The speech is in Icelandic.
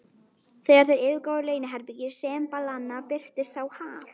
Þegar þeir yfirgáfu leyniherbergi sembalanna, birtist sá Hal